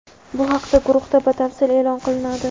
Bu haqida guruhda batafsil e’lon qilinadi.